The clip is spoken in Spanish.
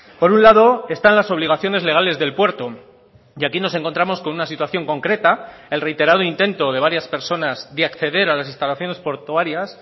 por un lado están las obligaciones legales del puerto y aquí nos encontramos con una situación concreta el reiterado intento de varias personas de acceder a las instalaciones portuarias